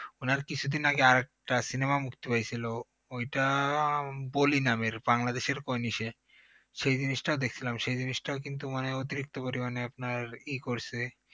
উনার কিছুদিন আগে আরেকটা cinema মুক্তি পাইছিল ওই টা বলি নামের বাংলাদেশর সেই জিনিসটা দেখছিলাম সেই জিনিসটা কিন্তু মানে অতিরিক্ত পরিমাণে আপনার করছে